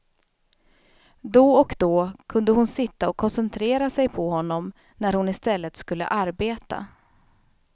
Då och då kunde hon sitta och koncentrera sig på honom när hon istället skulle arbeta.